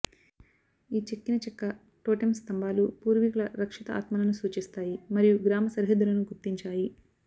ఈ చెక్కిన చెక్క టోటెమ్ స్తంభాలు పూర్వీకుల రక్షిత ఆత్మలను సూచిస్తాయి మరియు గ్రామ సరిహద్దులను గుర్తించాయి